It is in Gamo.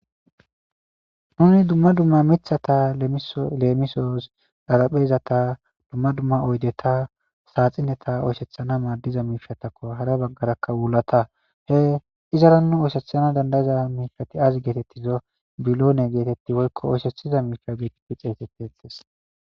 Nuni dumma dumma mithata leemisoos dharaphezata dumma dumma oydeta saaxineta oyshethana maaddiza miifatakko hara baggarakka wulata he izaranu oyshethana dandayiza miifati azi geetettizo biloone geetetti woykko oyshethiza miika geqipi xeetete ettes.